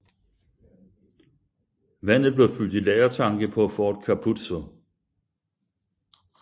Vandet blev fyldt i lagertanke på Fort Capuzzo